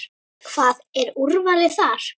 Hvað, er úrvalið þar?